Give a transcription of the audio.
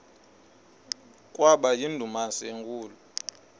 kwaba yindumasi enkulu